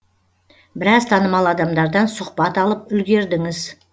біраз танымал адамдардан сұхбат алып үлгердіңіз